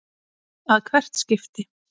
að hvert skipti.